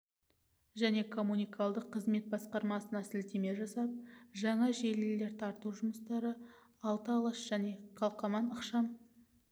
және коммуналдық қызмет басқармасына сілтеме жасап жаңа желілер тарту жұмыстары алты алаш және қалкаман ықшам